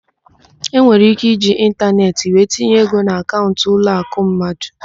Enwere íké iji ịntaneetị wee tinye ego na akaụnt ụlọakụ mmadụ.